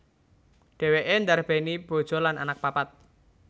Dhèwèké ndarbèni bojo lan anak papat